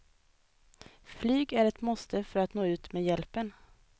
Flyg är ett måste för att nå ut med hjälpen.